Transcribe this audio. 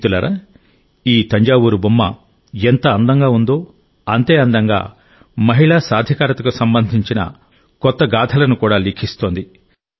మిత్రులారా ఈ తంజావూరు బొమ్మ ఎంత అందంగా ఉందో అంతే అందంగా మహిళా సాధికారతకు సంబంధించిన కొత్త గాథలను కూడా లిఖిస్తోంది